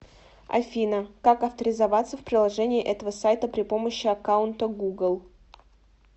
афина как авторизоваться в приложении этого сайта при помощи аккаунта гугл